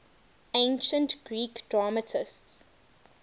ancient greek dramatists